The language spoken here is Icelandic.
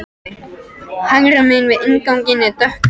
Hægra megin við innganginn er dökkrauð hurð.